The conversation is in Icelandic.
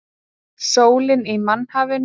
Sólin í mannhafinu.